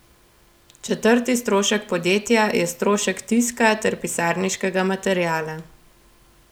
Četrti strošek podjetja je strošek tiska ter pisarniškega materiala.